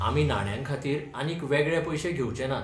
आमी नाण्यांखातीर आनीक वेगळे पैशे घेवचेंनात.